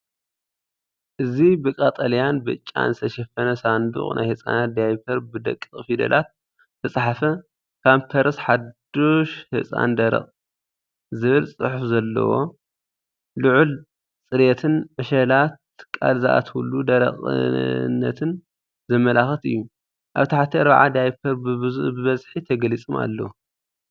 እዚ ብቀጠልያን ብጫን ዝተሸፈነ ሳንዱቕ ናይ ህጻናት ዳያፐር፡ ብደቂቕ ፊደላት ዝተጻሕፈ"ፓምፐርስ ሓድሽ ህጻን ደረቕ" ዝብል ጽሑፍ ዘለዎ። ልዑል ጽሬትን ዕሸላት ቃል ዝኣትውሉ ደረቕነትን ዘመልክት እዩ። ኣብ ታሕቲ 40 ዳያፐር ብብዝሒ ተገሊጾም ኣለዉ።